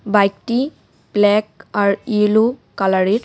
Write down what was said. বাইকটি ব্ল্যাক আর ইয়েলো কালারের.